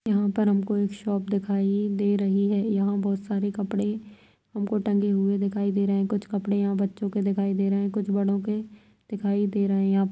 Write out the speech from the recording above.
यहाँ पर हम को एक शॉप दिखाई दे रही है यहाँ बहोत सारे कपड़े हम को टंगे हुए दिखाई दे रहें कुछ कपड़े यहाँ बच्चो के दिखाई दे रहें कुछ बड़ो के दिखाई दे रहें यहाँ --